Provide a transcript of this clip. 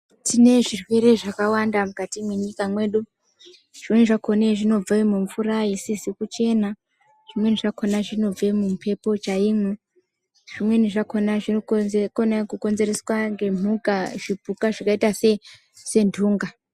Tine zvirwere zvakawanda mukati mwenyika mwedu zvimweni zvakone zvinobve mumvura isizi kuchena zvimweni zvakhona zvinobve mumhepo chaimwo zvimweni zvakhona zvinokonze kona kukonzereswa ngemhuka zvipuka zvakaita sentunga.